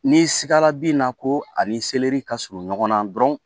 N'i sigara bina ko ani seleri ka surun ɲɔgɔnna dɔrɔn